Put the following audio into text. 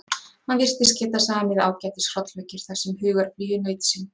Hann virtist geta samið ágætis hrollvekjur þar sem hugarflugið naut sín.